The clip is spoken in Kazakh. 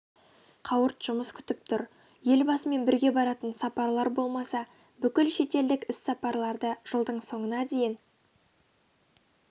қауырт жұмыс күтіп тұр елбасымен бірге баратын сапарлар болмаса бүкіл шетелдік іс-сапарларды жылдың соңына дейін